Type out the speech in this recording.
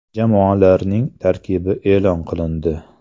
Jamoalarning tarkibi e’lon qilindi.